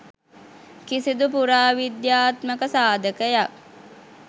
කිසිදු පුරා විද්‍යාත්මක සාධකයක්